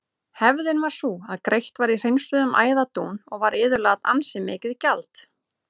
Hefðin var sú að greitt var í hreinsuðum æðadún og var iðulega ansi mikið gjald.